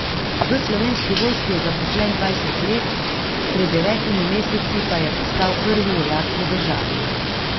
V Slovenski vojski je zaposlen dvajset let, pred devetimi meseci pa je postal prvi vojak v državi.